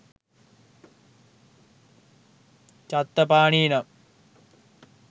ඡත්තපාණී නම්